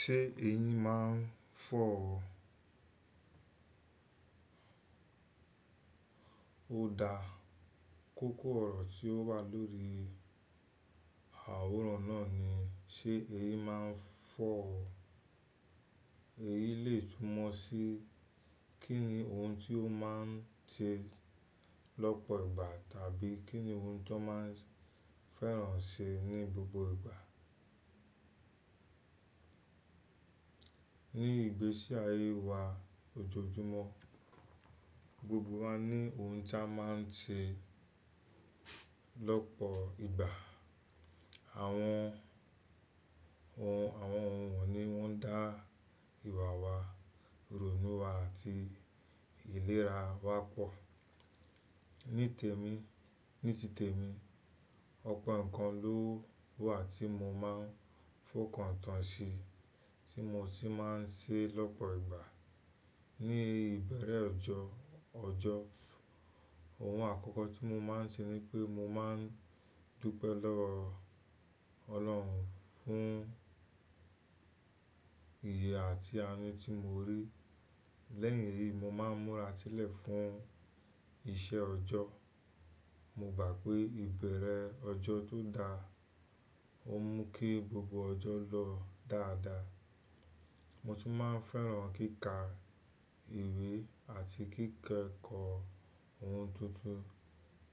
Ṣé èyin máa ń fọ́ ọ? Ó da. Kókó ọ̀rọ̀ tí ó wà lórí àwòrán náà ni “ṣé èyí máa ń fọ́ ọ?” Èyin lè túmọ̀ sí kín ni ohun tí ó máa ń ṣe lọ́pọ̀ ìgbà tàbí kí ni ohun tí wọ́n máa ń fẹ́ràn ṣe ní gbogbo ìgbà. Ní ìgbésí ayé wa ojoojúmọ́, gbogbo wa ní ohun tí a máa ń ṣe lọ́pọ̀ ìgbà. Àwọn ohun, àwọn ohun wọ̀ní wọ́n ń dá ìwà wa, rònú wa àti ìlera wa pọ̀. Ní tèmi, ní ti tèmi, ọ̀pọ̀ nǹkan ló wà tí mo máa ń fòkàntan ṣi tí mo sì máa ń ṣe lọ́pọ̀ ìgbà. Ní ìbẹ̀rẹ̀ ọjọ́, ọjọ́, ohun àkọ́kọ́ tí mo máa ń ṣe ni pé mo máa ń dúpẹ́ lọ́wọ́ Ọlọ́run fún iye àti anu tí mo rí. Lẹ́yìn èyí, mo máa ń múra sílẹ̀ fún iṣẹ́ ọjọ́. Mo gbà pé ìbẹ̀rẹ̀ ọjọ́ tó da, ó mú kí gbogbo ọjọ́ lọ dáadáa. Mo tún máa ń fẹ́ràn kíkà ìwé àti kíkẹ́kọ̀ọ́ ohun tuntun.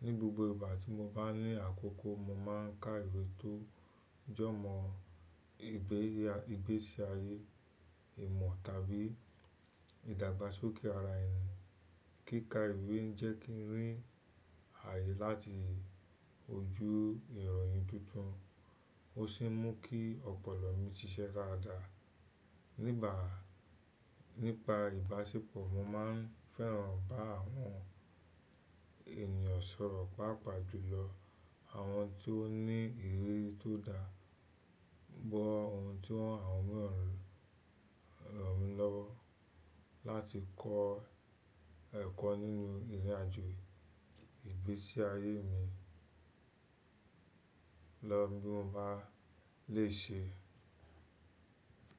Ni gbogbo ìgbà tí mo bá ní àkókò, mo máa ń ka ìwé tó jọ̀mọ́ ìgbésí ayé, ìmọ̀ tàbí ìdàgbàsókè ara ènìyàn. Kíkà ìwé ń jẹ́ kí n rí ààyè láti ojú ìròyìn tuntun ó sì mú kí ọ̀pọ̀lọ́ mi ṣiṣẹ́ dáadáa. Nígbà, nípa ìbáṣepọ̀, mo máa ń fẹ́ràn bá àwọn ènìyàn sọ̀rọ̀, pàápàá jùlọ àwọn tí ó ní ìrírí tó dáa, gbọ ohun tí àwọn mìíràn ń rọ̀ mi lọ́wọ́ láti kọ́ ẹ̀kọ́ nínú ìrìnàjò ìgbésí ayé mi. Lọ bí mo bá le ṣe.